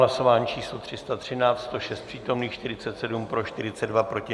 Hlasování číslo 313, 106 přítomných, 47 pro, 42 proti.